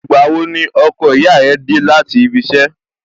Ìgbà wo ni ọkọ ìyá rẹ dé láti ibi iṣẹ́?